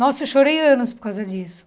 Nossa, eu chorei anos por causa disso.